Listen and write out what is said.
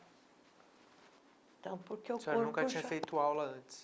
Então, porque o corpo já... A senhora nunca tinha feito aula antes?